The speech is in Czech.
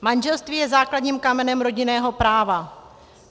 Manželství je základním kamenem rodinného práva.